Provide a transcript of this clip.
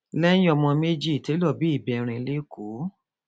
lẹyìn ọmọ méjì tẹlọ bí ìbẹrin lẹkọọ